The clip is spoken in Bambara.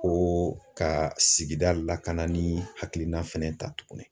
Ko ka sigida lakana ni hakilina fɛnɛ ta tuguni.